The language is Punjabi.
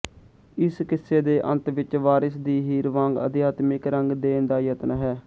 ਇਸ ਕਿੱਸੇ ਦੇ ਅੰਤ ਵਿੱਚ ਵਾਰਿਸ ਦੀ ਹੀਰ ਵਾਂਗ ਅਧਿਆਤਮਿਕ ਰੰਗ ਦੇਣ ਦਾ ਯਤਨ ਹੈੈ